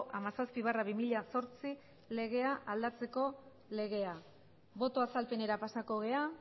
hamazazpi barra bi mila zortzi legea aldatzeko legea boto azalpenera pasako gara